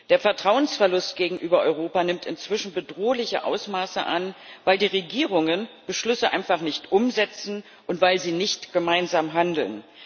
Der Vertrauensverlust gegenüber Europa nimmt inzwischen bedrohliche Ausmaße an, weil die Regierungen Beschlüsse einfach nicht umsetzen und weil sie nicht gemeinsam handeln.